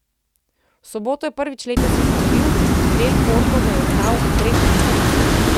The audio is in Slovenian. V soboto je prvič letos izgubil, del Potro ga je ugnal v treh nizih.